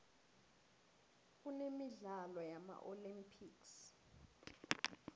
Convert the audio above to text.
kunemidlalo yama olympics